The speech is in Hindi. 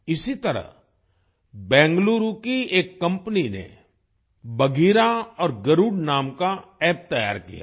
इसी तरह बेंगलुरु की एक कंपनी ने बघीरा और गरुड़ नाम का App तैयार किया है